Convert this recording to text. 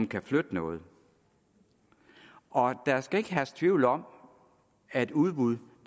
kan flytte noget og der skal ikke herske tvivl om at udbuddet